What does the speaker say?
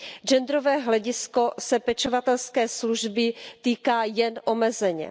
Genderové hledisko se pečovatelské služby týká jen omezeně.